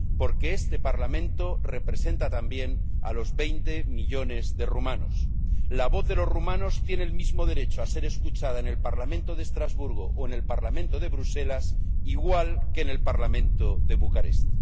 Porque este Parlamento representa también a los veinte millones de rumanos. La voz de los rumanos tiene el mismo derecho a ser escuchada en el Parlamento de Estrasburgo o en el Parlamento de Bruselas que en el Parlamento de Bucarest.